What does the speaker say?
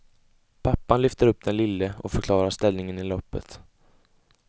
Pappan lyfter upp den lille och förklarar ställningen i loppet.